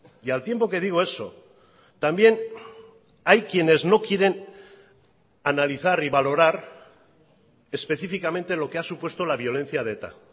y al tiempo que digo eso también hay quienes no quieren analizar y valorar específicamente lo que ha supuesto la violencia de eta